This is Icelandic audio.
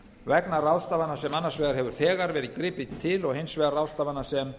vegna ráðstafana sem annars vegar hefur þegar verið gripið til og hins vegar ráðstafana sem